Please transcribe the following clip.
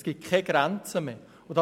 Es gibt keine Grenze mehr.